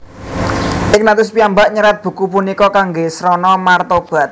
Ignatius piyambak nyerat buku punika kangge srana mertobat